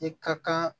I ka kan